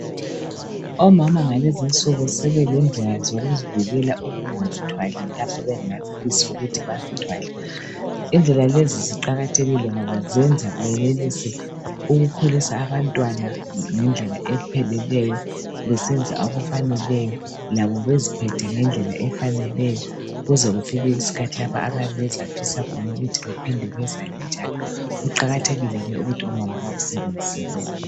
Omama ngalezinsuku sebelendlela zokuzivikela okungazithwali lapho bengakafisi ukuthi bezithwale. Indlela lezi ziqakathekile ngoba zenza benelise ukukhulisa abantwana ngendlela epheleleyo besenza okufaneleyo labo beziphethe ngendlela efaneleyo kuze kufike iskhathi lapho abayabe bezafisa khona ukuthi baphinde bezale njalo. Kuqakathekile ke ukuthi omama bakusebenzise lokhu.